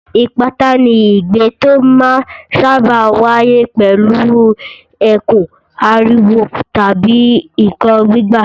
Ìpátá ni igbe tó máa ń sáábà wáyé pẹ̀lú ẹkún, ariwo tàbí nǹkan gbígbá.